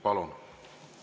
Palun!